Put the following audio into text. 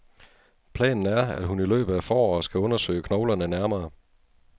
Planen er, at hun i løbet af foråret skal undersøge knoglerne nærmere.